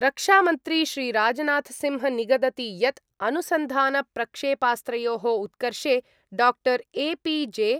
रक्षामन्त्री श्रीराजनाथसिंह निगदति यत् अनुसन्धानप्रक्षेपास्त्रयोः उत्कर्षे डाक्टर् ए.पी.जे.